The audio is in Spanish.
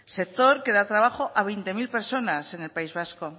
sector que da trabajo a veinte mil personas en el país vasco